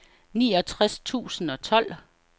niogtres tusind og tolv